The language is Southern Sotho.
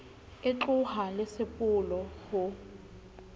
e tlohang le sepolo ho